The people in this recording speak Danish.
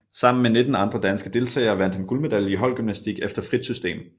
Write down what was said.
Sammen med 19 andre danske deltagere vandt han guldmedalje i holdgymnastik efter frit system